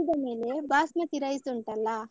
ಕುದಿದ ಮೇಲೆ ಬಾಸ್ಮತಿ rice ಉಂಟಲ್ಲ.